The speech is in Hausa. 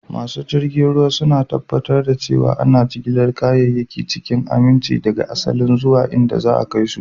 Masu jirgin ruwa suna tabbatar da cewa ana jigilar kayayyaki cikin aminci daga asalinsu zuwa inda za a kai su.